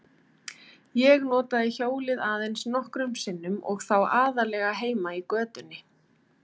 Ég notaði hjólið aðeins nokkrum sinnum og þá aðallega heima í götunni.